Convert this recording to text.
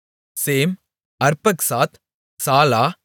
same Arphaxad Shelah